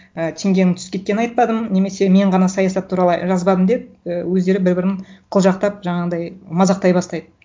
і теңгенің түсіп кеткенін айтпадым немесе мен ғана саясат туралы жазбадым деп і өздері бір бірін қылжақтап жаңағындай мазақтай бастайды